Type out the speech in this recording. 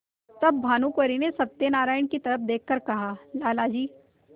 तब भानुकुँवरि ने सत्यनारायण की तरफ देख कर कहालाला जी